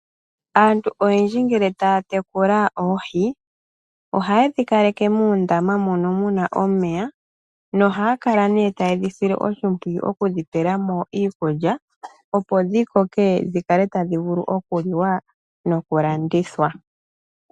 Aantu oyendji ngele taa tekula oohi ohaye dhi kaleke muundama mono mu na omeya nohaya kala nee taye dhi sile oshimpwiyu okudhi pela mo iikulya, opo dhi koke dhi vule okuliwa nokulandithwa.